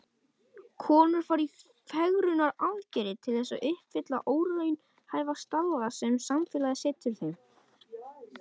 Konur fara í fegrunaraðgerðir til þess að uppfylla óraunhæfa staðla sem samfélagið setur þeim.